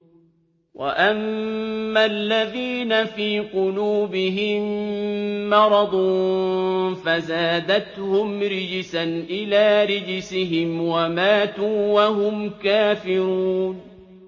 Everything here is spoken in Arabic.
وَأَمَّا الَّذِينَ فِي قُلُوبِهِم مَّرَضٌ فَزَادَتْهُمْ رِجْسًا إِلَىٰ رِجْسِهِمْ وَمَاتُوا وَهُمْ كَافِرُونَ